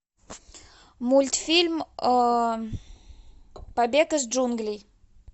мультфильм побег из джунглей